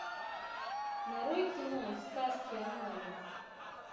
нарой кино сказки о маме